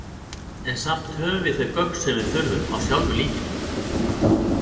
En samt höfum við þau gögn sem við þurfum, á sjálfu líkinu.